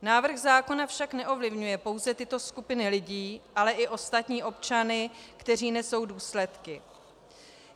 Návrh zákona však neovlivňuje pouze tyto skupiny lidí, ale i ostatní občany, kteří nesou důsledky.